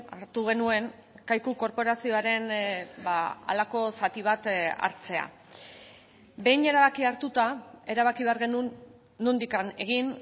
hartu genuen kaiku korporazioaren halako zati bat hartzea behin erabakia hartuta erabaki behar genuen nondik egin